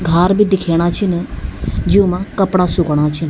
घार भी दिखेणा छिन जूमा कपड़ा सुखणा छिन।